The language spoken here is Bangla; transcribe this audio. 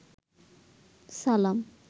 সালাম